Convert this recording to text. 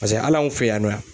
Paseke hali anw fɛ yan nɔ yan